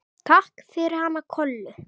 Takk fyrir hana Kollu.